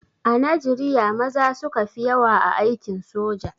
A Najriya maza suka fi yawa a aikin soja.